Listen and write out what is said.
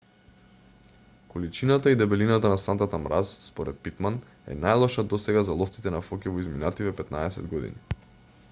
количината и дебелината на сантата мраз според питман е најлоша досега за ловците на фоки во изминативе 15 години